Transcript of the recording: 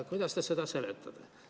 Kuidas te seda seletate?